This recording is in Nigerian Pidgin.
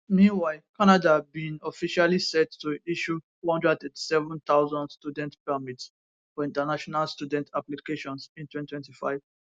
meanwhile canada bin officially set to issue 437000 study permits for international students applications in 2025